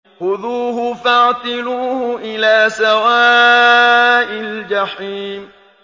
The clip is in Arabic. خُذُوهُ فَاعْتِلُوهُ إِلَىٰ سَوَاءِ الْجَحِيمِ